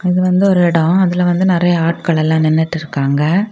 இது வந்து ஒரு இடம் அதுல வந்து நிறைய ஆட்கள் எல்லாம் நின்னுட்டு இருக்காங்க.